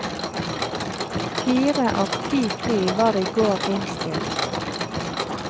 Fire av ti fly var i går innstilt.